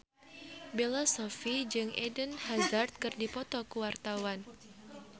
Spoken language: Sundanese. Bella Shofie jeung Eden Hazard keur dipoto ku wartawan